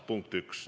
Punkt üks.